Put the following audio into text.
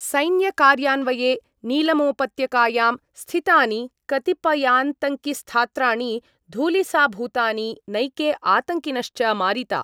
सैन्यकार्यान्वये नीलमोपत्यकायां स्थितानि कतिपयातंङ्किस्थात्राणि धूलिसाभूतानि नैके आतङ्किनश्च मारिता।